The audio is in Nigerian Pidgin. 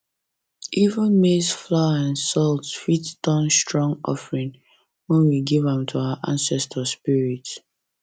even maize flour and salt fit turn strong offering when we give am to our ancestors spirits